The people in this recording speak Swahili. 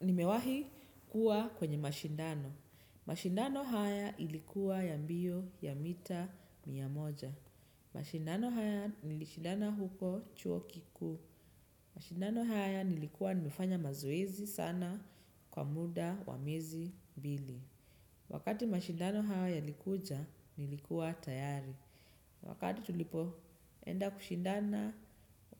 Nimewahi kuwa kwenye mashindano. Mashindano haya ilikuwa ya mbio, ya mita mia moja. Mashindano haya nilishindana huko chuo kikuu. Mashindano haya nilikuwa nimefanya mazoezi sana kwa muda, wa miezi mbili. Wakati mashindano hayo yalikuja, nilikuwa tayari. Wakati tulipoenda kushindana,